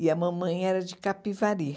E a mamãe era de Capivari.